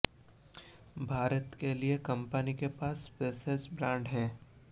भारत के लिए कंपनी के पास स्पेसेज ब्रांड है